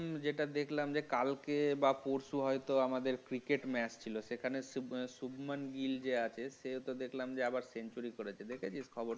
যেটা দেখলাম যে কালকে বা পরশু হয়তো আমাদের cricket match ছিল সেখানে সুবমান গিল্ যে আছে সে ত এবার century দেখেছিস খবর?